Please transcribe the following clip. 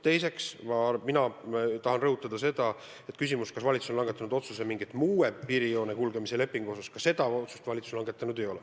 Teiseks ma aga tahan rõhutada seda, et kui on küsimus, kas valitsus on langetanud otsuse võimaliku uue piirijoone kulgemise kohta, siis seda otsust valitsus langetanud ei ole.